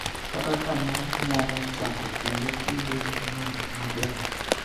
kata ka ne nyalo chako kendo kindeno maber.